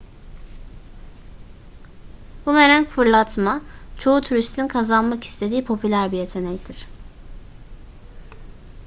bumerang fırlatma çoğu turistin kazanmak istediği popüler bir yetenektir